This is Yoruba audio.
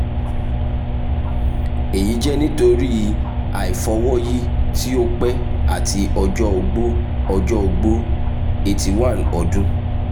eyi jẹ nitori aifọwọyi ti o pẹ ati ọjọ ogbó ọjọ ogbó eighty one ọdun)